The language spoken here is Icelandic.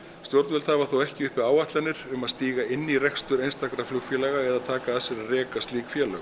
stjórnvöld hafa þó ekki uppi áætlanir um að stíga inn í rekstur einstakra flugfélaga eða að taka að sér að reka slík félög